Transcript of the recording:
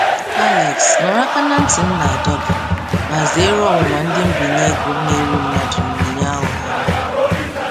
Alex nụrụ aka na nti m na-adọ gị ma zeere ọnwụnwa ndị mbinye ego na-eri mmadụ na onyinye aghụghọ ha.